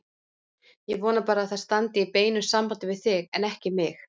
Ég vona bara að það standi í beinu sambandi við þig, en ekki mig.